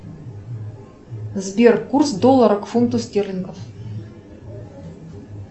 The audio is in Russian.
сбер курс доллара к фунту стерлингов